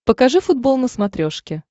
покажи футбол на смотрешке